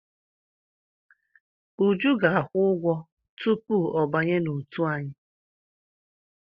Uju ga-akwụ ụgwọ tupu ọ banye n'òtù anyị.